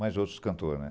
Mas outros cantor, né.